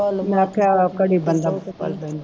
ਮੈਂ ਆਖਿਆ ਘੜੀ ਬੰਦਾ ਪਲ ਬਹਿੰਦਾ